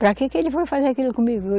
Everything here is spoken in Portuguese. Para que que ele foi fazer aquilo comigo?